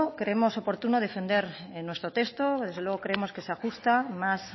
creemos oportuno defender nuestro texto desde luego creemos que se ajusta más